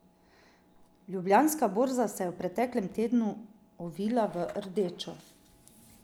Ljubljanska borza se je v preteklem tednu ovila v rdečo.